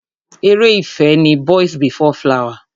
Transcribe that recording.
Ere ìfẹ́ ni Boys before flower.